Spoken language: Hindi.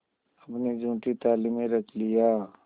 अपनी जूठी थाली में रख लिया